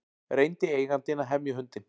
Reyndi eigandinn að hemja hundinn